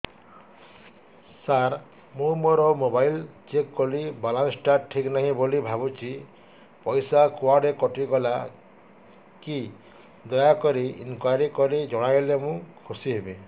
ସାର ମୁଁ ମୋର mobile check କଲି ବାଲାନ୍ସ ଟା ଠିକ ନାହିଁ ବୋଲି ଭାବୁଛି ପଇସା କୁଆଡେ କଟି ଗଲା କି ଦୟାକରି ଇନକ୍ୱାରି କରି ଜଣାଇଲେ ମୁଁ ଖୁସି ହେବି